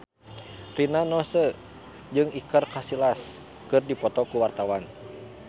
Rina Nose jeung Iker Casillas keur dipoto ku wartawan